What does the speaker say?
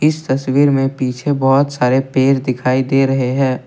तस्वीर में पीछे बहुत सारे पेड़ दिखाई दे रहे हैं।